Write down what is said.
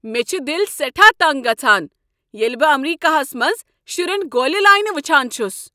مےٚ چھ دل سٮ۪ٹھاہ تنٛگ گژھان ییٚلہ بہٕ ایمریكاہس منٛز شرین گولہِ لاینہِ وٕچھان چھُس۔